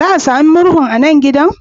Za a sami murhu a nan gidan?